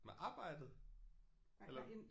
Med arbejdet eller?